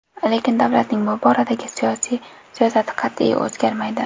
Lekin davlatning bu boradagi siyosati qat’iy, o‘zgarmaydi.